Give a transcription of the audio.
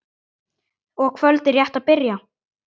og kvöldið rétt að byrja!